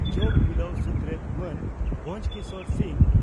ᱡᱚᱜᱚ ᱢᱤᱞᱟᱹᱣ ᱥᱩᱛᱨᱮᱛ ᱢᱟᱱ ᱵᱷᱚᱸᱡᱚᱠᱤᱥᱚᱨ ᱥᱤᱝ